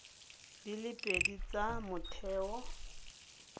di le pedi tsa motheo